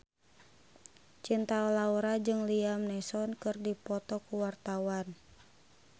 Cinta Laura jeung Liam Neeson keur dipoto ku wartawan